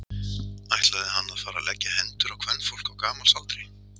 Ætlaði hann að fara að leggja hendur á kvenfólk á gamals aldri?